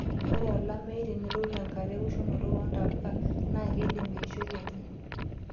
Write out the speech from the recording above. Ore olameyu tenelotu tenkata eoshunoto oontapuka naakeidim eishioi enye.